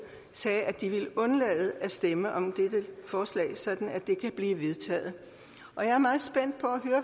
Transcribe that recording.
sagde at de vil undlade at stemme om dette forslag så det kan blive vedtaget jeg er meget spændt på